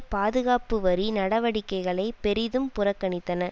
பாதுகாப்புவரி நடவடிக்கைகளை பெரிதும் புறக்கணித்தன